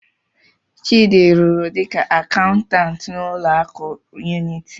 Chidi rụrụ dịka akaụntantụ n'ụlọ akụ Unity.